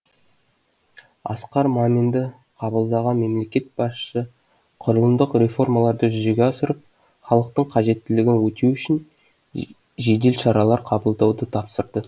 асқар маминді қабылдаған мемлекет басшысы құрылымдық реформаларды жүзеге асырып халықтың қажеттілігін өтеу үшін жедел шаралар қабылдауды тапсырды